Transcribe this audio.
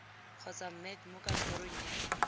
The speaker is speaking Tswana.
kgotsa mec mo kantorong ya